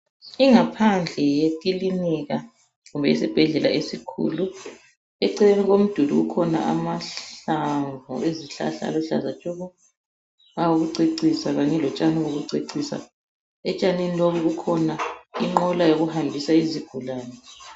Ingaphandle yekilinika kumbe isibhedlela esikhulu. Eceleni komduli kukhona amahlamvu ezihlahla aluhlaza tshoko, awokucecisa kanye lotshoni lokucecisa. Etshanini lobu kukhona inqola yokuhambisa izigulane.